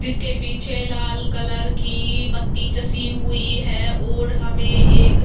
जिसके पीछे लाल कलर की बत्ती चसी हुई है और हमें एक --